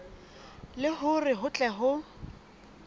le hore ho tle ho